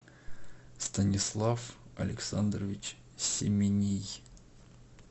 станислав александрович семений